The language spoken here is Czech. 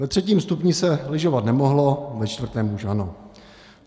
Ve třetím stupni se lyžovat nemohlo, ve čtvrtém už ano.